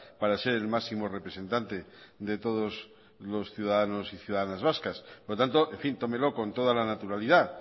para ser el máximo representante de todos los ciudadanos y ciudadanas vascas por lo tanto en fin tómelo con toda la naturalidad